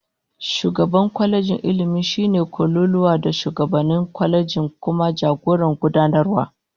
Shugaban kwalejin Ilmi shine kololuwa a shugabannin kwalejin, kuma jagoran gudanarwa